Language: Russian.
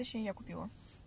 точнее я купила